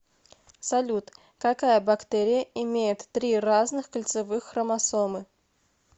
салют какая бактерия имеет три разных кольцевых хромосомы